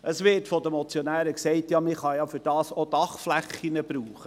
Es wird von den Motionären gesagt, man könne für das ja auch Dachflächen brauchen.